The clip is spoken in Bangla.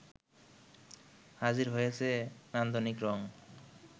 হাজির হয়েছে নান্দনিক রং